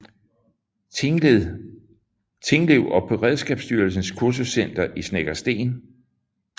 Tinglev og på Beredskabsstyrelsens Kursuscenter i Snekkersten